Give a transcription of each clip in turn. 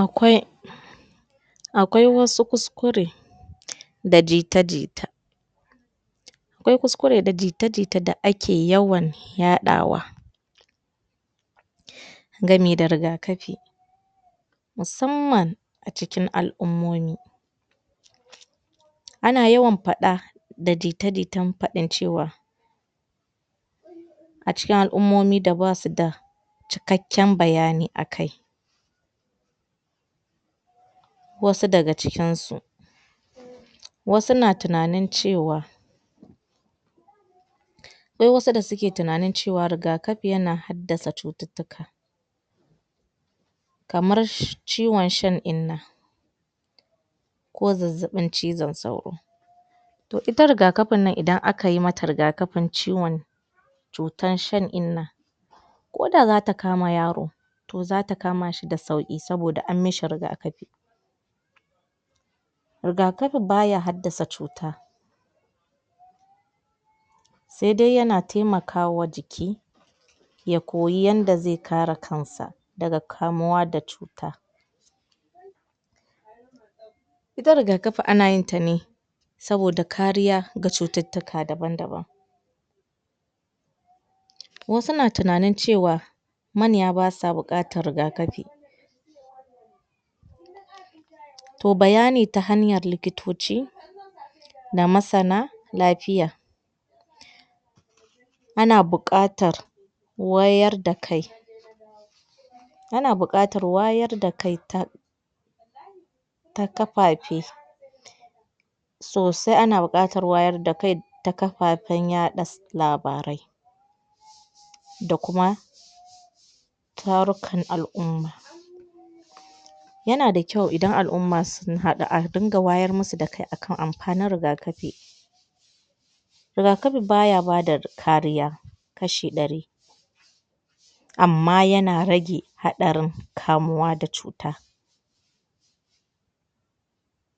akwai akwai wasu kuskure da jita jita akwai kuskure da jita jita da ake yawan yaɗa wa gami da rigakafi musamman a cikin al'umomi ana yawan faɗa da jita jitan faɗin cewa a cikin al'umomi da basu da cikakken bayani akai wasu daga cikinsu wasu na tunanin cewa akwai wasu da suke tunanin cewa rigakafi yana haddasa cututtuka kamar ciwon shan innah ko zazzaɓin kizon sauro to ita rigakafin nan idan akai mata rigakafin ciwon cutar shan innah koda zata kama yaro to zata kama shi da sauƙi saboda an mishi rigakafi riga kafi baya haddasa cuta se dai yana taimakawa jiki ya koyi yanda ze kare kansa daga kamuwa da cuta ita rigakafi ana yinta ne saboda kariya ga cututtuka daban daban wasu na tunanin cewa manya basa buƙatar rigakafi to bayani ta hanyar likitoci da masana lafiya ana buƙatar wayar da kai ana buƙatar wayar da kai ta ta kafafe sosai ana buƙatar wayar da kai ta kafafen yaɗa labarai da kuma tarukan al'uma yana da kyau idan al'umma sun haɗu a dinga wayar musu da kai akan amfanin rigakafi rigakafi baya bada kariya kashi ɗari amma yana gage haɗarin kamuwa da cuta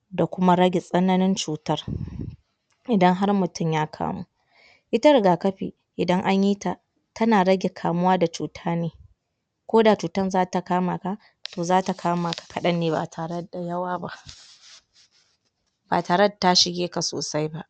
da kuma rage tsananin cutar idan har mutum ya kamu ita rigakafi idan anyi ta tana rage kamuwa da cutar koda cutar zata kamaka to zata kamaka kaɗan ne ba tare da yawa ba ba tare da ta shige ka sosai ba